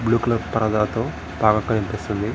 Blue colour పరదాతో పాక కనిపిస్తుంది.